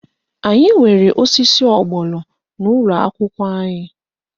Anyị nwere osisi ọgbọnọ n'ụlọakwụkwọ anyị